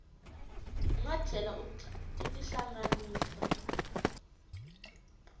u nga tlhela u tihlanganisa